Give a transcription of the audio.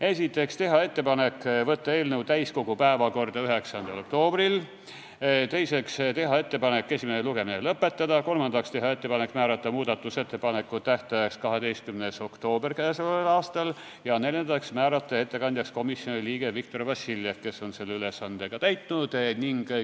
Esiteks, teha ettepanek võtta eelnõu täiskogu päevakorda 9. oktoobriks; teiseks, teha ettepanek esimene lugemine lõpetada; kolmandaks, teha ettepanek määrata muudatusettepanekute tähtajaks 12. oktoober ja neljandaks, määrata ettekandjaks komisjoni liige Viktor Vassiljev, kes on selle ülesande ka täitnud.